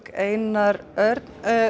Einar Örn